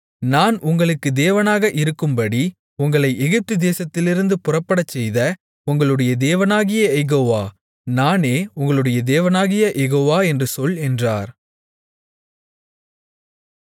நான் உங்களுக்கு தேவனாக இருக்கும்படி உங்களை எகிப்துதேசத்திலிருந்து புறப்படச்செய்த உங்களுடைய தேவனாகிய யெகோவா நானே உங்களுடைய தேவனாகிய யெகோவா என்று சொல் என்றார்